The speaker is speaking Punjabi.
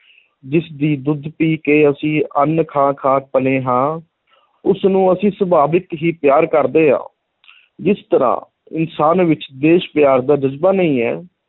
ਜਿਸ ਦੀ ਦੁੱਧ ਪੀ ਕੇ ਅਸੀਂ ਅੰਨ੍ਹ ਖਾ ਖਾ ਪਲੇ ਹਾਂ ਉਸਨੂੰ ਅਸੀਂ ਸੁਭਾਵਕ ਹੀ ਪਿਆਰ ਕਰਦੇ ਹਾਂ ਜਿਸ ਤਰ੍ਹਾਂ ਇਨਸਾਨ ਵਿੱਚ ਦੇਸ਼ ਪਿਆਰ ਦਾ ਜਜ਼ਬਾ ਨਹੀਂ ਹੈ,